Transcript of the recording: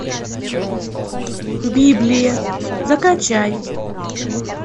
библия закачай